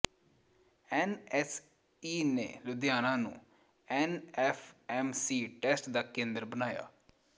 NSE ਨੇ ਲੁਧਿਆਣਾ ਨੂੰ NFMC test ਦਾ ਕੇਂਦਰ ਬਣਾਇਆ